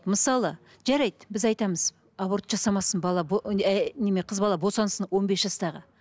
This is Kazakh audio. мысалы жарайды біз айтамыз аборт жасамасын бала қыз бала босансын он бес жастағы